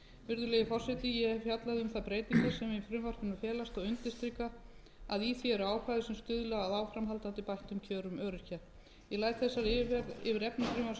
virðulegi forseti ég hef fjallað um þær breytingar sem í frumvarpinu felast og undirstrika að í því eru ákvæði sem stuðla að áframhaldandi bættum kjörum öryrkja ég læt þessari yfirferð yfir efni frumvarpsins lokið